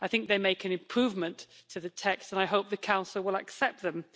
They make an improvement to the text, and I hope the Council will accept them.